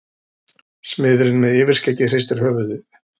Smiðurinn með yfirskeggið hristir höfuðið.